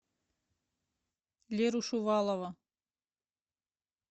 леру шувалова